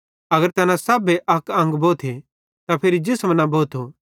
अगर तैना सभे अक्के अंग भोथे त फिरी जिसम न भोथो